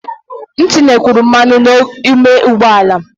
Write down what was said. M tinyekwuru mmanụ n'ime ụgbọ ala